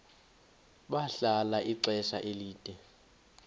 bahlala ixesha elide